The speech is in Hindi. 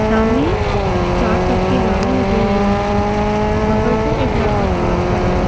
सामने चार चक्के गाड़ी लगे हुए हैं बगल से एक लड़का क्रॉस कर रहा ।